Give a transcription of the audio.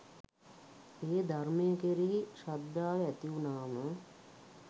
ඒ ධර්මය කෙරෙහි ශ්‍රද්ධාව ඇතිවුණාම